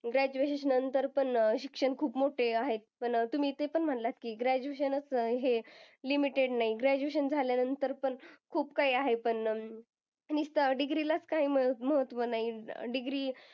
Graduation नंतर पण शिक्षण खूप मोठं आहे. पण तुम्ही ते पण म्हणालात की graduation च हे limited नाही. Graduation झाल्यानंतर पण, खूप काही आहे पण अं नुसता degree लाच काहीं महत्व नाही. degree